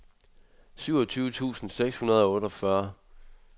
syvogtyve tusind seks hundrede og otteogfyrre